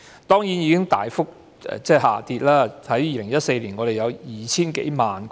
當然，現時已經大幅下跌 ，2014 年我們有 2,000 多萬個。